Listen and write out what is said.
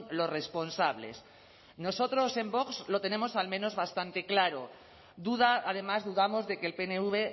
los responsables nosotros en vox lo tenemos al menos bastante claro duda además dudamos de que el pnv